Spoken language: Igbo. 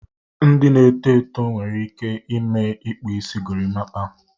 Ndị na-eto eto nwekwara ike ime Ikpu Isi Gorimpa